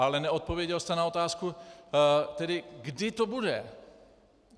Ale neodpověděl jste na otázku, kdy to bude.